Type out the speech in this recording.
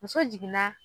Muso jiginna